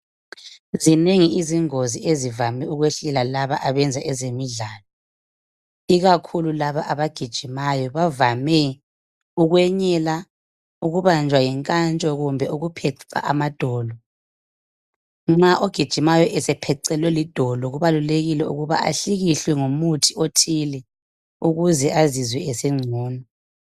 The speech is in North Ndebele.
Zinengi izingozi ezivame ukwehlela laba abenza ezemidlalo, ikakhulu laba abagijimayo, bavame ukwenyela, ukubanjwa yinkantsho kumbe ukupheca amadolo. Nxa ogijimayo esephecelwe lidolo kubalulekile ukuba ahlikihlwe ngomuthi othile ukuze azizwe esengcono